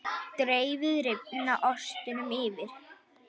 Dreifið rifna ostinum yfir.